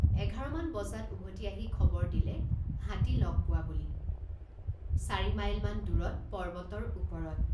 এঘাৰমান বজাত উভতি আহি খবৰ দিলে হাতী লগ পোৱা বুলি চাৰি মাইলমান দূৰত পৰ্বতৰ ওপৰত।